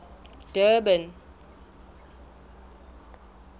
durban